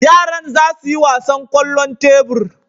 Yaran za su yi wasan kwallon tebur.